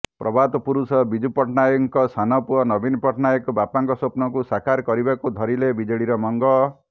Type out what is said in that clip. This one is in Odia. ପ୍ରବାଦ ପୁରୁଷ ବିଜୁ ପଟ୍ଟନାୟକଙ୍କ ସାନପୁଅ ନବୀନ ପଟ୍ଟନାୟକ ବାପାଙ୍କ ସ୍ୱପ୍ନକୁ ସାକାର କରିବାକୁ ଧରିଲେ ବିଜେଡିର ମଙ୍ଗ